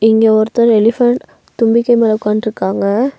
இங்க ஒருத்தர் எலிபன்ட் தும்பிக்கை மேல உக்காண்ட்ருக்காங்க.